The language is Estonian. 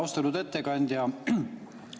Austatud ettekandja!